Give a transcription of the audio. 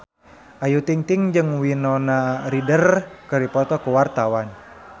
Ayu Ting-ting jeung Winona Ryder keur dipoto ku wartawan